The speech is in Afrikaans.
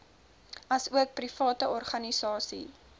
asook private organisasies